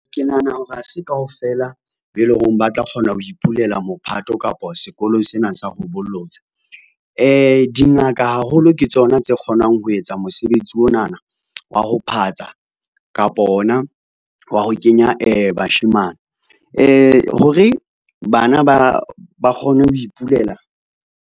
Ke nahana hore ha se kaofela be leng hore ba tla kgona ho ipulela mophato kapa sekolong sena sa ho bolotsa. Dingaka haholo ke tsona tse kgonang ho etsa onana wa ho phatsa, kapa ona wa ho kenya bashemane, hore bana ba kgone ho ipulela.